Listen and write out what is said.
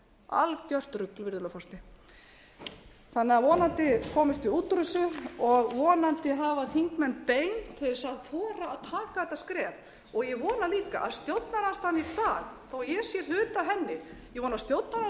algert rugl virðulegi forseti vonandi komumst við út úr þessu og vonandi hafa þingmenn bein til að þora að taka þetta skref og ég vona líka að stjórnarandstaðan í dag þó ég